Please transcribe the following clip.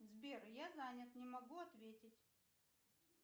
сбер я занят не могу ответить